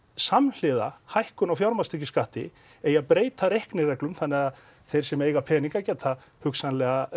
samhliða hækkun á fjármagnstekjuskatti eigi að breyta reiknireglum þannig að þeir sem eiga peninga geta hugsanlega